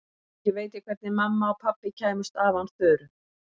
Ekki veit ég hvernig mamma og pabbi kæmust af án Þuru.